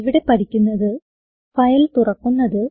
ഇവിടെ പഠിക്കുന്നത് ഫയൽ തുറക്കുന്നത്